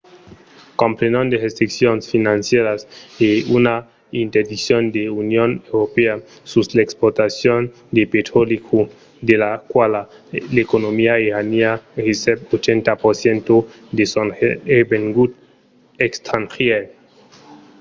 comprenon de restriccions financièras e una interdiccion de l’union europèa sus l’exportacion de petròli cru de la quala l’economia iraniana recep 80% de son revengut estrangièr